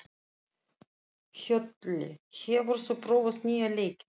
Hlölli, hefur þú prófað nýja leikinn?